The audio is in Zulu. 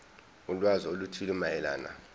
ulwazi oluthile mayelana